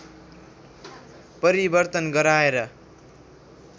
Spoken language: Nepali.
परिवर्तन गराएर